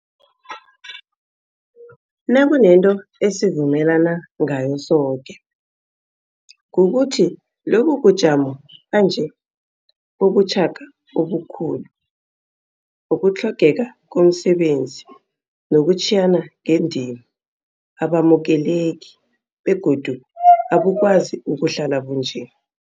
Nakunento esivumelana ngayo soke, kukuthi lobubujamo banje, bobuchaka obukhulu, ukutlhogeka komsebenzi nokutjhiyana ngendima abamukeleki begodu abukwazi ukuhlala bunje.